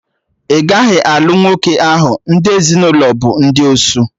Ị gaghị alụ nwoke ahụ, ndị ezinụlọ bụ ndị osu